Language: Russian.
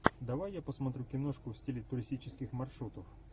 давай я посмотрю киношку в стиле туристических маршрутов